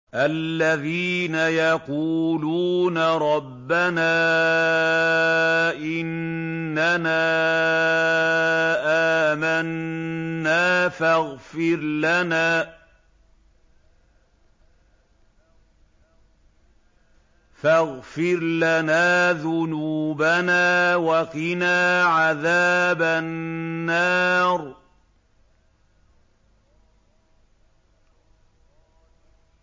الَّذِينَ يَقُولُونَ رَبَّنَا إِنَّنَا آمَنَّا فَاغْفِرْ لَنَا ذُنُوبَنَا وَقِنَا عَذَابَ النَّارِ